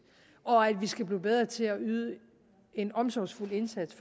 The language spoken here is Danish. og at vi skal blive bedre til at yde en omsorgsfuld indsats